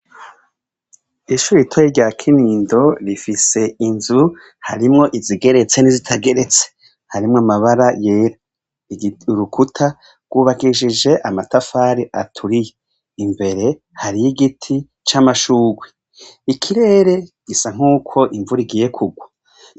Ishure ritoyi rya Kinindo rifise inzu harimwo izigeretse n’izitageretse, harimw’amabara yera, urukuta rw’ubakishijwe amatafari aturiye, imbere, hariy’igiti c’amashugwe. Ikirere gisa nkuko imvura igiye kugwa.